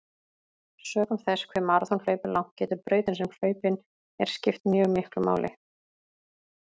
Sökum þess hve maraþonhlaup er langt getur brautin sem hlaupin er skipt mjög miklu máli.